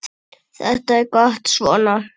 Þetta er gott svona.